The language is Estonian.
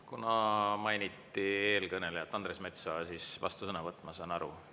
Kuna mainiti eelkõnelejat, siis Andres Metsoja vastusõnavõtt, ma saan aru.